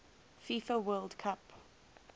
fifa world cup